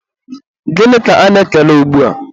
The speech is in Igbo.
gịnị ka ana-ekele ugbua?